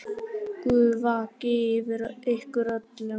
Guð vaki yfir ykkur öllum.